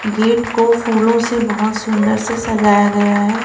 Gate को फूलों से बहोत सुंदर से सजाया गया है।